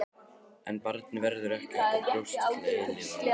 En barnið verður ekki á brjósti til eilífðarnóns.